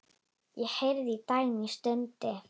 Ég heyrði að Dagný stundi.